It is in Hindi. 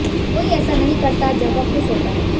कोई ऐसा नहीं करता जब वह खुश होता है